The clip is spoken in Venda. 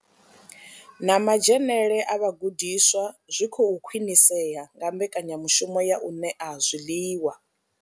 Na madzhenele a vhagudiswa zwi khou khwinisea nga mbekanyamushumo ya u ṋea zwiḽiwa.